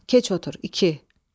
Keç otur, iki.